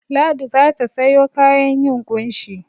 Ladi za ta sayo kayan yin ƙunshi.